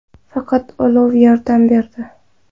Faqat olov yordam berdi.